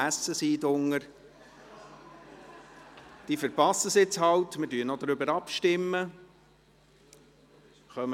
Wer bereits am Essen ist, verpasst halt jetzt die Abstimmung.